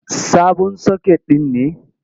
Sabon soket ɗin ne.